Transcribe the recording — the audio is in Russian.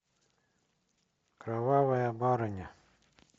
кровавая барыня